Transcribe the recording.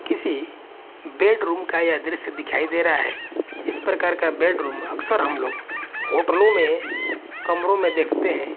किसी बेडरूम का यह दृश्य दिखाई दे रहा है जिस प्रकार का बेडरूम अक्सर हम लोग होटलों में कमरों में देखते हैं।